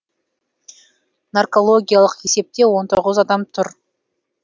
наркологиялық есепте он тоғыз адам тұр